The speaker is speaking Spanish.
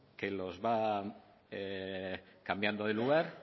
que los va cambiando de lugar